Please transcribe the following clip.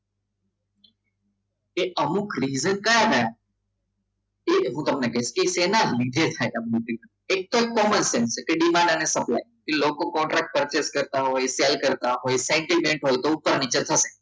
કે અમુક reason કયા કયા? તો એવું તમને કહીશ કે એના સેના લીધે થાય એમ એકદમ common sence છે તે d માટે supply કે લોકો લોક કોન્ટ્રાક્ટ કરતા sell કરતા હોય centralment હોય તો ઉપર નીચે થતા હોય